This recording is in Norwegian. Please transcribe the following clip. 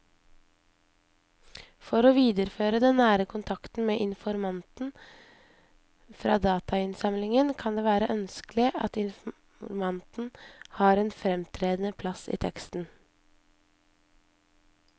For å videreføre den nære kontakten med informanten fra datainnsamlingen kan det være ønskelig at informanten har en fremtredende plass i teksten.